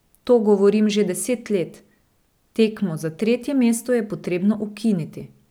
To govorim že deset let, tekmo za tretje mesto je potrebno ukiniti.